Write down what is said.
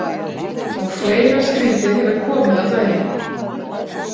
Og fleira skrítið hefur komið á daginn.